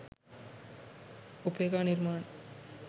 upeka nirmani